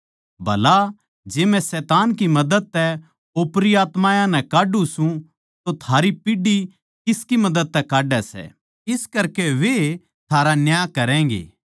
भला जै मै शैतान की मदद तै ओपरी आत्मायाँ नै काढ्ढू सूं तो थारी पीढ़ी किसकी मदद तै काड्डै सै इस करकै वैए थारा न्याय करैगें